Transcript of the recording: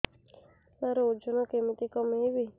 ସାର ଓଜନ କେମିତି କମେଇବି